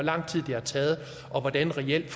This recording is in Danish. lang tid det har taget og hvordan folk reelt